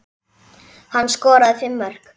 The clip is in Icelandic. Hann skoraði fimm mörk.